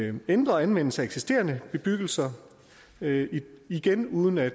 en ændret anvendelse af eksisterende bebyggelser igen uden at